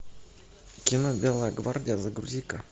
кино белая гвардия загрузи ка